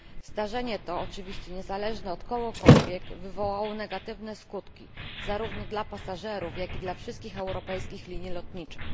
Zdarzenie to, oczywiście niezależne od kogokolwiek, wywołało negatywne skutki zarówno dla pasażerów, jak i dla wszystkich europejskich linii lotniczych.